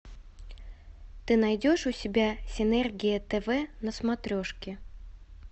ты найдешь у себя синергия тв на смотрешке